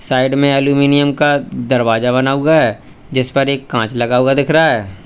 Side में aluminium का दरवाजा बना हुआ है जिस पर एक कांच लगा हुआ दिख रहा है।